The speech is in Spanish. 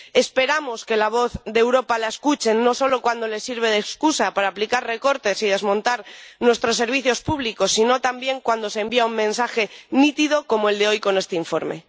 Esperamos que la voz de Europa la escuche, no solo cuando les sirve de excusa para aplicar recortes y desmontar nuestros servicios públicos, sino también cuando se envía un mensaje nítido como el de hoy con este informe.